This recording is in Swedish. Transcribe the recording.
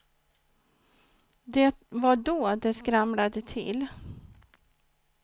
Det var då det skramlade till.